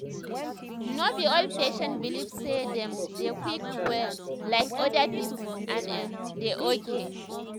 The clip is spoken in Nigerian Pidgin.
no be all patients belive say them dey quick well like other people and e um dey okay